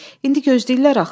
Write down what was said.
İndi gözləyirlər axı.